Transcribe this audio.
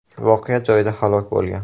voqea joyida halok bo‘lgan.